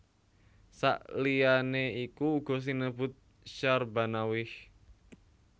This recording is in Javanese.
Saliyané iku uga sinebut Syahrbanawaih